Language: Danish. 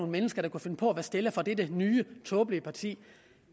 mennesker der kunne finde på at være stillere for det nye tåbelige parti